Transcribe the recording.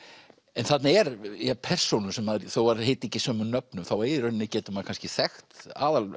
en þarna eru persónur þó þær heiti ekki sömu nöfnum þá í rauninni getur maður kannski þekkt